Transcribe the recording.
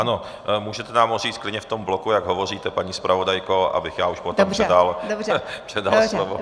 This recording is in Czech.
Ano, můžete nám ho říct klidně v tom bloku, jak hovoříte, paní zpravodajko, abych já už potom předal slovo.